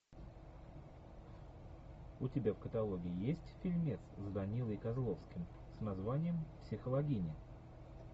у тебя в каталоге есть фильмец с данилой козловским с названием психологини